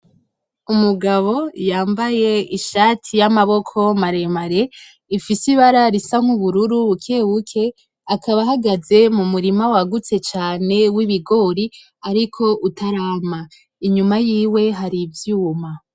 Umugabo yambaye ishati y'amaboko maremare ifise ibara risa nk'ubururu bukebuke akaba ahagaze mu murima wagutse cane w'ibigori ariko utarama, inyuma yiwe hari ivyuma.